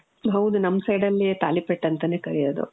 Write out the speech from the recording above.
ಹೌದು, ನಮ್ side ಅಲ್ಲಿ ತಾಲಿಪೆಟ್ ಅಂತಾನೆ ಕರಿಯೋದು.